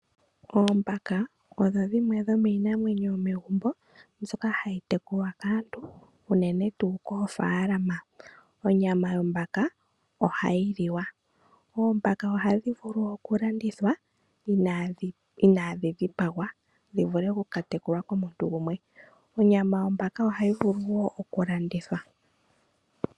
Oombaka odho dhimwe dhomiinamwenyo yomegumbo mbyoka hayi tekulwa kaantu uunene tuu koofaalama. Onyama yombaka ohayi liwa. Oombaka ohadhi vulu oku landithwa inaadhi dhi pagwa, dhi vule oku ka tekulwa komuntu gumwe. Onyama yombaka ohayi vulu wo okulandithwa.